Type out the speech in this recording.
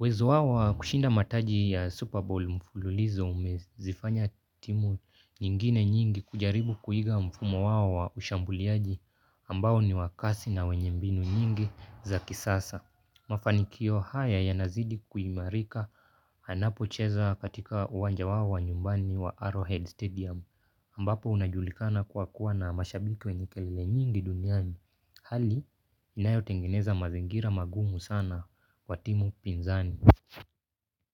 uwezo wao wa kushinda mataji ya Super Bowl mfululizo umezifanya timu nyingine nyingi kujaribu kuiga mfumo wao wa ushambuliaji ambao ni wa kasi na wenye mbinu nyingi za kisasa. Mafanikio haya yanazidi kuimarika anapocheza katika uwanja wao wa nyumbani wa Arrowhead Stadium ambapo unajulikana kuwa kuwa na mashabiki wenye kelele nyingi duniani. Hali, inayotengeneza mazingira magumu sana kwa timu pinzani.